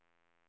Robertsfors